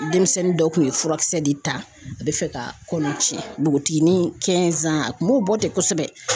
Denmisɛnnin dɔ kun ye furakisɛ de ta a kun bɛ fɛ ka kɔnɔ cɛn bogotiginin a kun m'o bɔ ten kosɛbɛ.